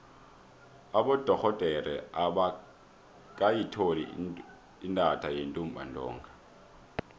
abodorhodere abakayitholi intatha yentumbantonga